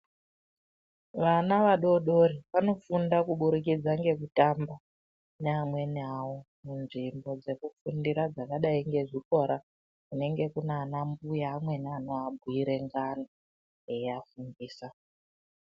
Vana vadodori vanofunda kuburidikidza ngekutamba neamweni awo munzvimbo dzekufundira dzakadai ngezvikora kunenge Kuna ana mbuya amweni anoabhuire ngano eiafundisa.